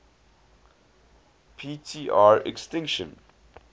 p tr extinction